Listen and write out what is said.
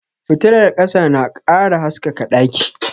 Fitilar ƙasa na ƙara haskaka ɗaki